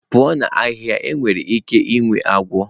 pụọ na ahihia enwere ike inwe agwọ.